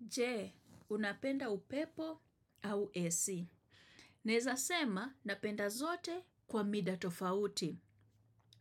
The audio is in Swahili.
Je, unapenda upepo au AC. Naeza sema, napenda zote kwa mida tofauti.